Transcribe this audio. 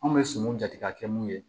An bɛ sumunw jate ka kɛ mun ye